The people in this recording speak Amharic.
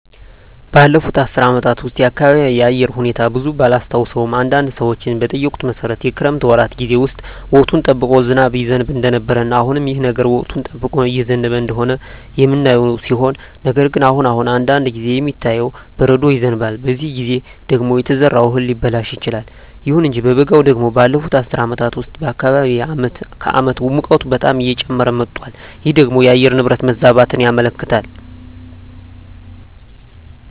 ባለፉት አስር አመታት ውስጥ የአካባቢየ የአየር ሁኔታ ብዙም ባላስታውሰውም አንዳንድ ሰዎችን በጠየኩት መሠረት የክረምት ወራት ጌዜ ውስጥ ወቅቱን ጠብቆ ዝናብ ይዘንብ እንደነበረ እና አሁንም ይህ ነገር ወቅቱን ጠብቆ እየዘነበ እንደሆነ የምናየው ሲሆን ነገር ግን አሁን አሁን አንዳንድ ጊዜ የሚታየው በረዶ ይዘንባል በዚህ ጊዜ ደግሞ የተዘራው እህል ሊበላሽ ይችላል። ይሁን እንጂ በበጋው ደግሞ ባለፋት አስር አመታት ውስጥ በአካባቢየ አመት ከአመት ሙቀቱ በጣም እየጨመረ መጧል ይህ ደግሞ የአየር ንብረት መዛባትን ያመለክታል